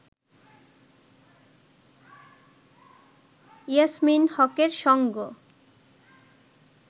ইয়াসমীন হকের সঙ্গ